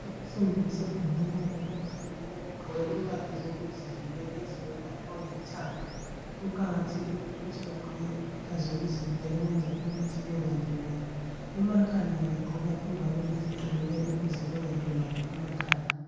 Abafundi base gumbini labo lokufundela begqoke impahla zokuzivikela ezilombala olithanga kuqakathekile ukuthi bagqoke impahla zokuzivikela ukwenzela ukuthi bengalimali emakhanda bagqoka ingwani eziqinileyo ukuze bengalimali emakhanda.